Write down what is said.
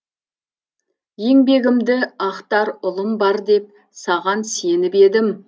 еңбегімді ақтар ұлым бар деп саған сеніп едім